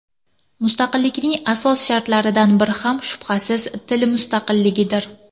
Mustaqillikning asos shartlaridan biri ham, shubhasiz, til mustaqilligidir.